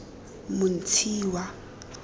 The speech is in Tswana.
montshiwa